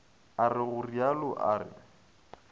a re go realo a